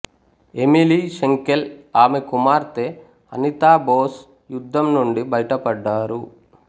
Emily Schenkl ఆమె కుమార్తె అనితా బోస్ యుద్ధం నుండి బయటపడ్డారు